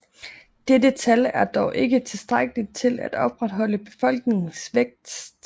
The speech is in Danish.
Dette tal er dog ikke tilstrækkelig til at opretholde befolkningens vækst